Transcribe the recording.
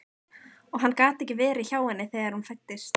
Og hann gat ekki verið hjá henni þegar hún fæddist.